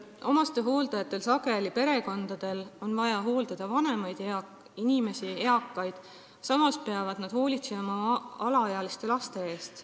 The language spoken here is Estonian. Omastehooldajatel, perekondadel, on vaja hooldada vanemaid inimesi, eakaid, samas peavad nad hoolitsema alaealiste laste eest.